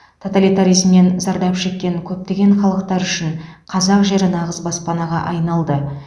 тоталитаризмнен зардап шеккен көптеген халықтар үшін қазақ жері нағыз баспанаға айналды